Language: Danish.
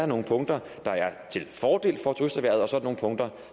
nogle punkter der er til fordel for turisterhvervet og så er nogle punkter